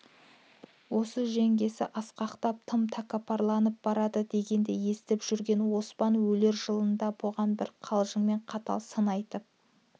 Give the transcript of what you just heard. осы жеңгесі асқақтап тым тәкаппарланып барады дегенді есітіп жүрген оспан өлер жылында бұған бір қалжыңмен қатал сын айтып